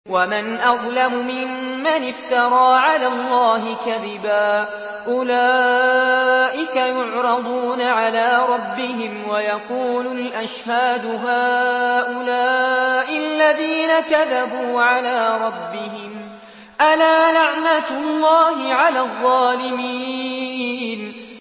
وَمَنْ أَظْلَمُ مِمَّنِ افْتَرَىٰ عَلَى اللَّهِ كَذِبًا ۚ أُولَٰئِكَ يُعْرَضُونَ عَلَىٰ رَبِّهِمْ وَيَقُولُ الْأَشْهَادُ هَٰؤُلَاءِ الَّذِينَ كَذَبُوا عَلَىٰ رَبِّهِمْ ۚ أَلَا لَعْنَةُ اللَّهِ عَلَى الظَّالِمِينَ